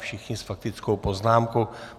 Všichni s faktickou poznámkou.